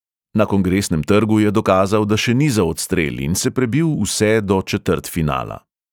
Na kongresnem trgu je dokazal, da še ni za odstrel, in se prebil vse do četrtfinala.